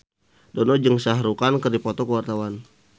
Dono jeung Shah Rukh Khan keur dipoto ku wartawan